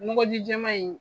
Nɔgɔ ji jɛma in.